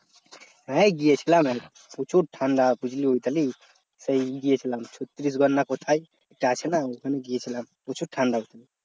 হ্যাঁ গিয়েছিলাম প্রচুর ঠান্ডা জানিস সেই গিয়েছিলাম ছত্ত্রিশ গড় না কোথায় আছে না ওখানে গিয়েছিলাম প্রচুর ঠান্ডা ওখানে